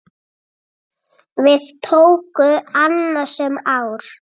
Við tóku annasöm ár.